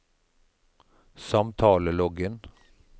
samtaleloggen